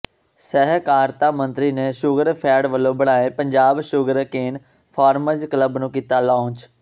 ੍ਹ ਸਹਿਕਾਰਤਾ ਮੰਤਰੀ ਨੇ ਸ਼ੂਗਰਫੈਡ ਵੱਲੋਂ ਬਣਾਏ ਪੰਜਾਬ ਸ਼ੂਗਰਕੇਨ ਫਾਰਮਰਜ਼ ਕਲੱਬ ਨੂੰ ਕੀਤਾ ਲਾਂਚ